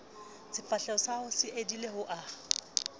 sefahlehosahao se edile o a